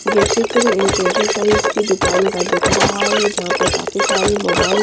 ये चित्र एक ऐसे साइज़ की दुकान का दिख रहा है जहां पे काफी सारे मोबाईल --